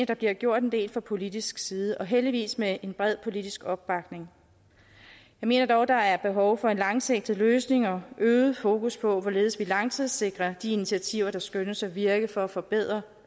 der blev gjort en del fra politisk side og heldigvis med en bred politisk opbakning jeg mener dog der er behov for en langsigtet løsning og øget fokus på hvorledes vi langtidssikrer de initiativer der skønnes at virke for at forbedre